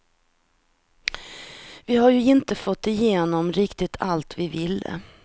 Vi har ju inte fått igenom riktigt allt vi ville.